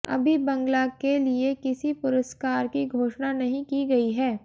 अभी बंगला के लिए किसी पुरस्कार की घोषणा नहीं की गयी है